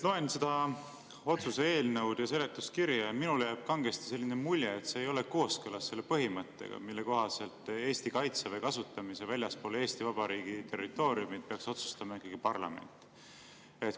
Loen seda otsuse eelnõu ja seletuskirja ja minule jääb kangesti selline mulje, et see ei ole kooskõlas selle põhimõttega, mille kohaselt Eesti Kaitseväe kasutamise väljaspool Eesti Vabariigi territooriumi peaks otsustama ikkagi parlament.